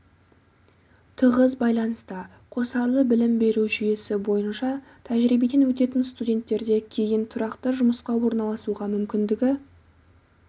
тығыз байланыста қосарлы білім беру жүйесі бойынша тәжірибеден өтетін студенттерде кейін тұрақты жұмысқа орналасуға мүмкіндігі